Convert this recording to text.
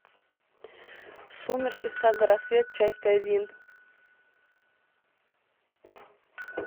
сумерки сага рассвет часть один